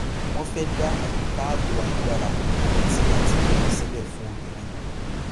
wọn fẹ dá àyíká ààbò agbára àti àtìlẹyìn sílẹ fún obìnrin